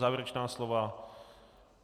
Závěrečná slova?